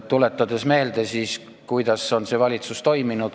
Tuletagem meelde, kuidas on see valitsus toiminud!